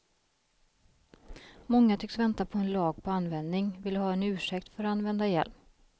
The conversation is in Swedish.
Många tycks vänta på en lag på användning, vill ha en ursäkt för använda hjälm.